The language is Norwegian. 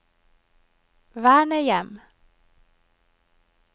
vernehjem